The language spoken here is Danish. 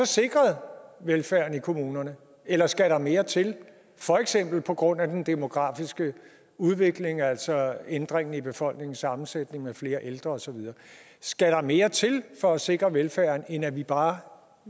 sikret velfærden i kommunerne eller skal der mere til for eksempel på grund af den demografiske udvikling altså ændringen i befolkningssammensætningen med flere ældre osv skal der mere til for at sikre velfærden end at vi bare